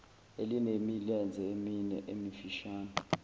elinemilenze emine emifishane